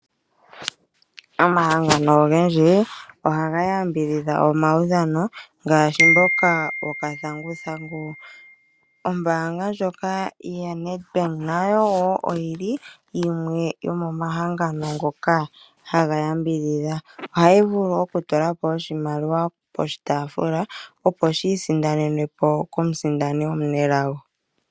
Omahangano ogendji oha ga yambidhidha omaudhano ngashi mboka woka thanguthangu. Ombanga lyoka yaNedbank nayo wo oyili yimwe yomo mahangano ngoka haga yambidhidha, ohayi vulu oku tulapo oshimaliwa poshitafula oposhi isindanenwepo komusindani omunelago.